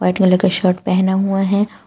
का शर्ट पहना हुए हैं।